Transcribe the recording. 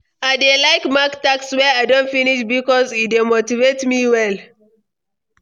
I dey like mark task wey I don finish bikos e dey motivate me well.